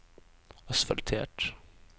asfaltert